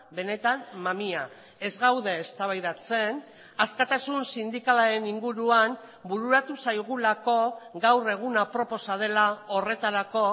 benetan mamia ez gaude eztabaidatzen askatasun sindikalaren inguruan bururatu zaigulako gaur egun aproposa dela horretarako